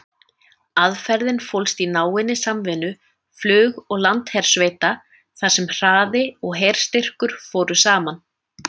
Aðferðin fólst í náinni samvinnu flug- og landhersveita þar sem hraði og herstyrkur fóru saman.